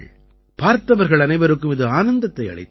பார்த்தவர்கள் அனைவருக்கும் இது ஆனந்தத்தை அளித்தது